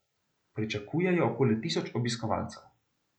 Pričakujejo okoli tisoč obiskovalcev.